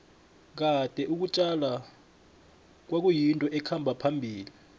kade ukutjala kwayinto ekhamba phambili